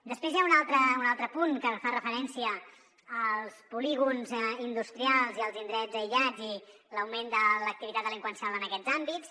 després hi ha un altre punt que fa referència als polígons industrials i als indrets aïllats i l’augment de l’activitat delinqüencial en aquests àmbits